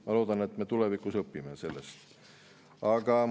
Ma loodan, et me tulevikus õpime sellest.